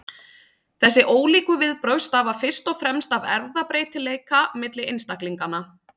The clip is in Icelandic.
Þessi ólíku viðbrögð stafa fyrst og fremst af erfðabreytileika milli einstaklinganna.